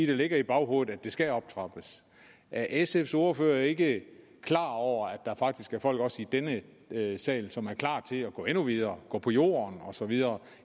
det ligger i baghovedet at det skal optrappes er sfs ordfører ikke klar over at der faktisk er folk også i denne sal som er klar til at gå endnu videre gå på jorden og så videre